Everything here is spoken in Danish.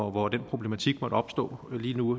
hvor den problematik måtte opstå lige nu